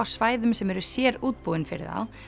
svæðum sem eru sérútbúin fyrir þá